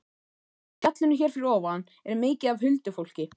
Í fjallinu hér fyrir ofan er mikið af huldufólki